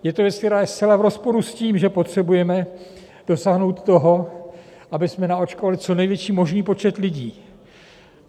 Je to věc, která je zcela v rozporu s tím, že potřebujeme dosáhnout toho, abychom naočkovali co největší možný počet lidí.